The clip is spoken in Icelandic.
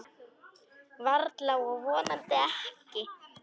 Varla og vonandi ekki.